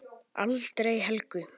Aldrei Helgu.